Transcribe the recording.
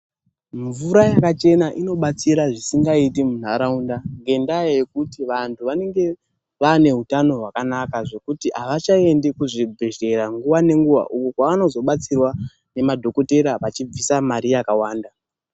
Mvura yakachena inobatsira zvisingaiti munharaunda ngendaa yekuti vanthu vanenge vaane utano hwakanaka zvekuti avachaendi kuzvibhedhlera nguwa ngenguwa, uko kwavanozobatsirwa nemadhokotera vachibvisa mari yakawanda